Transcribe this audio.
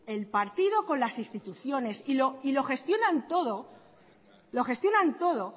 el partido con las instituciones y lo gestionan todo